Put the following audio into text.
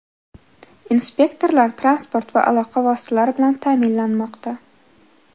Inspektorlar transport va aloqa vositalari bilan ta’minlanmoqda.